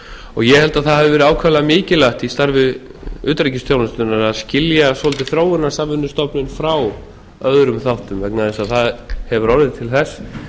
og ég held að það hafi verið ákaflega mikilvægt í starfi utanríkisþjónustunnar að skilja svolítið þróunarsamvinnustofnun frá öðrum þáttum vegna þess að það hefur orðið til þess